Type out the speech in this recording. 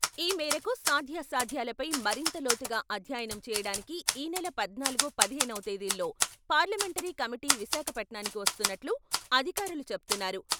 ఈ మేరకు సాధ్యాసాధ్యాలపై మరింత లోతుగా అధ్యాయనం చేయడానికి ఈనెల పద్నాలుగు, పదిహేనవ తేదీల్లో పార్లమెంటరీ కమిటీ విశాఖపట్నానికి వస్తున్నట్లు అధికారులు చెప్తున్నారు.